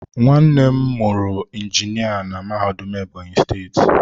Nwannem muru injinia na mahadum Ebonyi steeti.